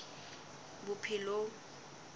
bophelong